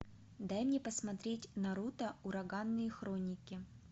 дай мне посмотреть наруто ураганные хроники